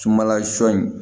Sumanla sɔ in